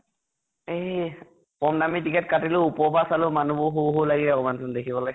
এ । কম দামী ticket কাটিলো, ওপৰৰ পৰা চালো, মানুহ সৰু সৰু লাগিলে অকনমান দেখিবলে